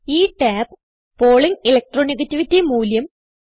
ഈ tab Pauling electro negativity മൂല്യം